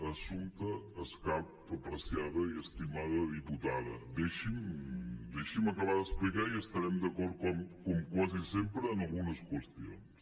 assumpta escarp apreciada i estimada diputada deixi’m acabar d’explicar i estarem d’acord com quasi sempre en algunes qüestions